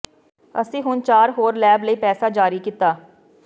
ਅਸੀਂ ਹੁਣ ਚਾਰ ਹੋਰ ਲੈਬ ਲਈ ਪੈਸਾ ਜਾਰੀ ਕੀਤਾ